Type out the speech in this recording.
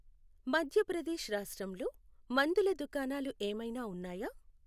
మధ్య ప్రదేశ్ రాష్ట్రంలో మందుల దుకాణాలు ఏమైనా ఉన్నాయా??